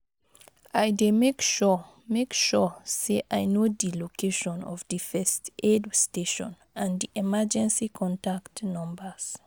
I dey make sure make sure say i know di location of di first aid station and di emergency contact numbers.